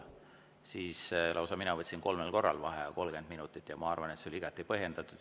Siis ma võtsin lausa kolmel korral vaheaja 30 minutit ja ma arvan, et see oli igati põhjendatud.